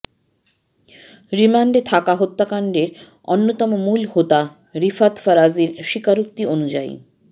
রিমান্ডে থাকা হত্যাকাণ্ডের অন্যতম মূল হোতা রিফাত ফরাজীর স্বীকারোক্তি অনুযায়ী